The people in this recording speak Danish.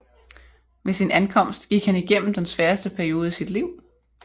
Ved sin ankomst gik han igennem den sværeste periode i sit liv